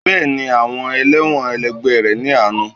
Bẹ́ẹ̀ni, àwọn elẹ́wọ̀n ẹlẹgbẹ́ rẹ ní àánú.